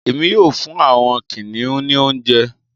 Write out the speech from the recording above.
Èmi yóò fún àwọn kìnìún ní oúnjẹ.